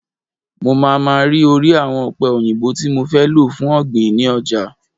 Mo máa ma rí orí àwọn ọ̀pẹ òyìnbó tí mo fẹ́ lò fún ọ̀gbìn ni ọjà.